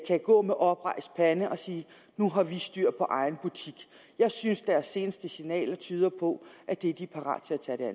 kan gå med oprejst pande og sige nu har vi styr på egen butik jeg synes deres seneste signaler tyder på at de er parate til